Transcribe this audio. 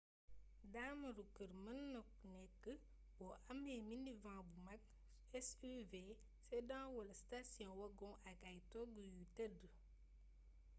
daamaru kër mën na nékk bo amé minivan bu makk suv sedan wala station wagon ak ay toogu yuy tëdd